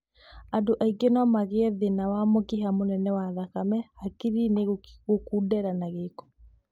Andu angi nomagie a thĩna wa mũkiha mũnene wa thakame hakiri-inĩ gũkundera na gĩko